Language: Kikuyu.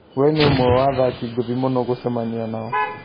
"We nĩ ũmwe wa athaki ngũthi mũno gũcemania nao"